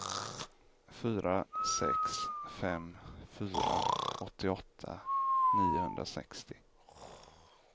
fyra sex fem fyra åttioåtta niohundrasextio